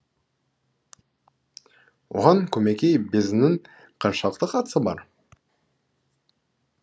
оған көмекей безінің қаншалықты қатысы бар